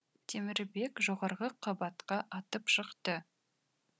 темірбек жоғарғы қабатқа атып шықты